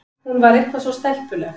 Hún var eitthvað svo stelpuleg.